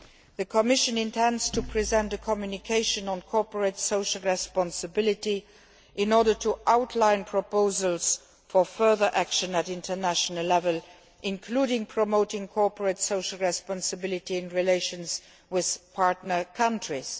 the Commission intends to present a communication on corporate social responsibility outlining proposals for further action at international level, including promoting cooperate social responsibility in relations with partner countries.